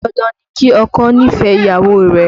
Dandan ni kí ọkọ nífẹ̀ẹ́ ìyàwó rẹ̀